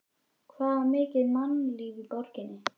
Það var mikið mannlíf í borginni.